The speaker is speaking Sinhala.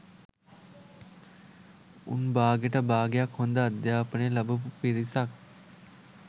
උන් බාගෙට බාගයක් හොඳ අධ්‍යාපනය ලබපු පිරිසක්